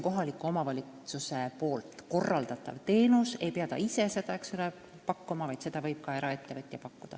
Korraldatavat teenust ei pea omavalitsus ise pakkuma, vaid seda võib teha ka eraettevõtja.